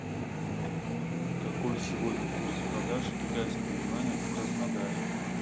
какой сегодня курс продажи китайского юаня в краснодаре